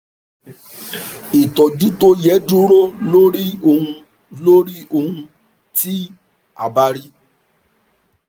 ìtọ́jú tó yẹ dúró lórí ohun lórí ohun tí a bá rí